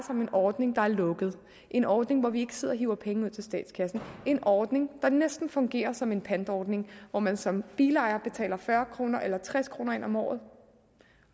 om en ordning der er lukket en ordning hvor vi ikke sidder og hiver penge ud til statskassen en ordning der næsten fungerer som en pantordning hvor man som bilejer betaler tres kroner ind om året